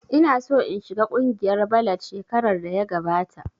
Ina so in shiga kungiyar ballad shekarar da ya gabata